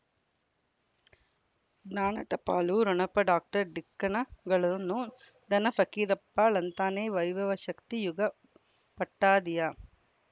ಜ್ಞಾನ ಟಪಾಲು ಠೊಣಪ ಡಾಕ್ಟರ್ ಢಿಕ್ಕಿ ಣಗಳನು ಧನ ಫಕೀರಪ್ಪ ಳಂತಾನೆ ವೈಭವ ಶಕ್ತಿ ಯುಗಾ ಪಟ್ಟದಿಯ